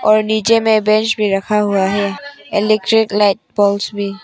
पर नीचे में बेंच भी रखा हुआ है। इलेक्ट्रिक लाइट बल्ब भी --